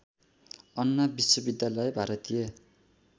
अन्ना विश्वविद्यालय भारतीय